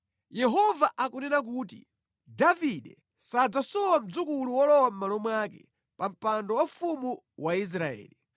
Yehova akunena kuti, ‘Davide sadzasowa mdzukulu wolowa mʼmalo mwake pa mpando waufumu wa Israeli,